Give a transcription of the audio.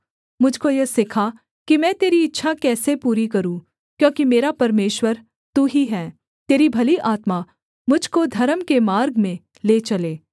मुझ को यह सिखा कि मैं तेरी इच्छा कैसे पूरी करूँ क्योंकि मेरा परमेश्वर तू ही है तेरी भली आत्मा मुझ को धर्म के मार्ग में ले चले